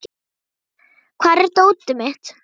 Ares, hvar er dótið mitt?